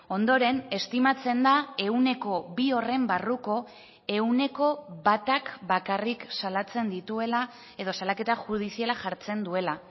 ondoren estimatzen da ehuneko bi horren barruko ehuneko batak bakarrik salatzen dituela edo salaketa judiziala jartzen duela